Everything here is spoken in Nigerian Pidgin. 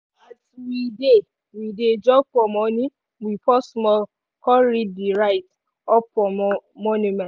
as we dey we dey jog for morning we pause small con read di write-up for monument.